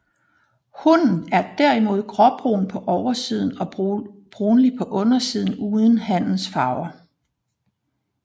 Hunnen er derimod gråbrun på oversiden og brunlig på undersiden uden hannens farver